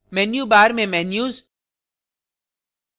menu bar में menus